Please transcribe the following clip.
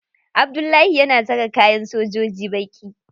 Abdullahi yana saka kayan sojoji baƙi.